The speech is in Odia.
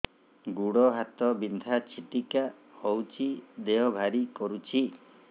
ଗୁଡ଼ ହାତ ବିନ୍ଧା ଛିଟିକା ହଉଚି ଦେହ ଭାରି କରୁଚି